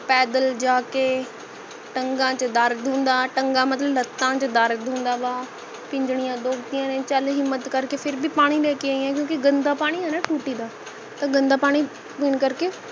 ਪੈਦਲ ਜਾਕੇ ਟੰਗਾ ਚ ਦਰਦ ਹੁੰਦਾ ਟੰਗਾਂ ਮਤਲਬ ਲੱਤਾਂ ਚ ਦਰਦ ਹੁੰਦਾ ਗਾ ਪਿੰਜੜੀਆਂ ਦੁਖਦੀਆਂ ਨੇ ਚਲ ਹਿੱਮਤਨ ਕਰਕੇ ਫਿਰ ਭੀ ਪਾਣੀ ਲੈਕੇ ਆਈ ਹਾਂ ਕਿਉਂਕਿ ਗੰਦਾ ਪਾਣੀ ਹੈ ਨਾ ਟੂਟੀ ਦਾ ਤਾ ਗੰਦਾ ਪਾਣੀ ਪਿਣ ਕਰਕੇ